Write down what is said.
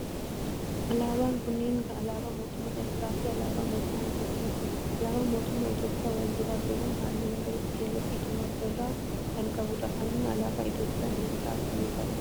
Alaabaan kunneen alaabaa mootummaa Eritiraa fi alaabaa mootummaa Itiyoophiyaati. Alaabaan mootummaa Itiyoophiyaa wal duraa duuban halluu magariisa, keelloo fi diimaa of irraa kan qabu dha. Halluun alaabaa Itiyoophiyaa hiika akkamii qaba?